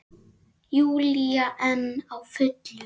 Júlía enn á fullu.